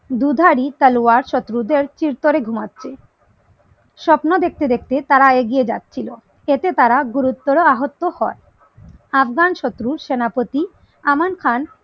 দুধারী তলোয়ার শত্রুদের স্থির করে ঘুমাচ্ছে স্বপ্ন দেখতে দেখতে তার এগিয়ে যাচ্ছিলো এতে তারা গুরুতর আহত হয় আফগান শত্রু সেনাপতি আমল খান